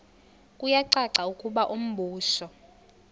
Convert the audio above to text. kuyacaca ukuba umbuso